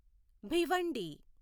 Bhiwandi